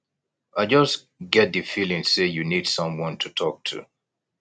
i just get di feeling say you need someone to talk to